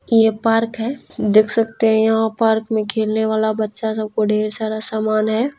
ये पार्क है देख सकते है यहा पार्क में खेलने वाला बच्चा सब को ढेर सारा सामान है।